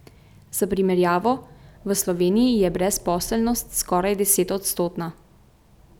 Za primerjavo, v Sloveniji je brezposelnost skoraj desetodstotna.